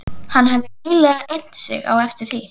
Hann hefði nýlega innt sig eftir því.